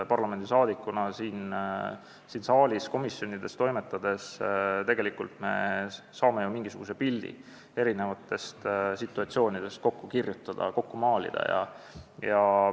Parlamendiliikmetena siin saalis ja komisjonides toimetades me saame ju mingisuguse pildi eri situatsioonidest kokku kirjutada ja kokku maalida.